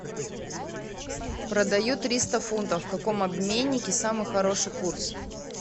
продаю триста фунтов в каком обменнике самый хороший курс